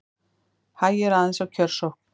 Hægir aðeins á kjörsókn